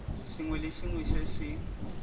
sengwe le sengwe se se